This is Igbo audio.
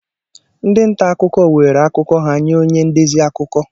Ndị nta akụkọ were akụkọ ha nye onye ndezi akuko